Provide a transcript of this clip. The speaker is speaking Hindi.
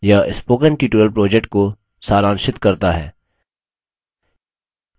यह spoken tutorial project को सारांशित करता है